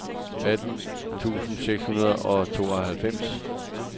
atten tusind seks hundrede og otteoghalvfems